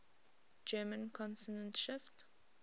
german consonant shift